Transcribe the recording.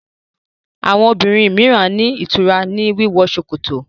Àwọn obìrin míràn ní ìtura ní wíwọ ṣòkòtò